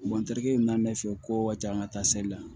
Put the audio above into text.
Wa n terikɛ min bɛna ne fɛ yen ko wajan ka taa seli la